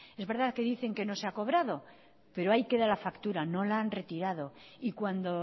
es verdad que dicen que no se ha cobrado pero ahí queda la factura no la han retirado y cuando